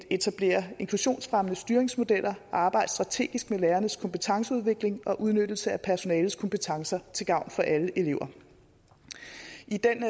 etablere inklusionsfremmende styringsmodeller og arbejde strategisk med lærernes kompetenceudvikling og udnyttelse af personalets kompetencer til gavn for alle elever